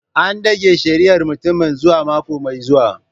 An dage shari'ar mutumin zuwa mako mai zuwa.